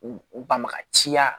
U u banbagaciya